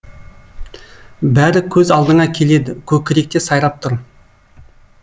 бәрі көз алдыңа келеді көкіректе сайрап тұр